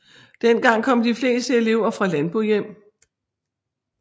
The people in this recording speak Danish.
Dengang kom de fleste elever fra landbohjem